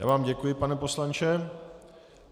Já vám děkuji, pane poslanče.